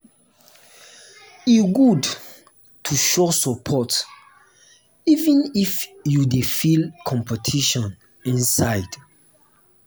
e good to show support even if you dey feel competition inside.